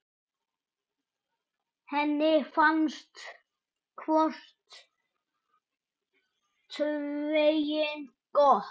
Henni fannst hvort tveggja gott.